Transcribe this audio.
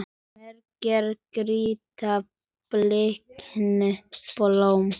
Margir gráta bliknuð blóm.